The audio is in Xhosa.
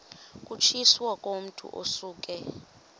kutshiwo kumotu osuke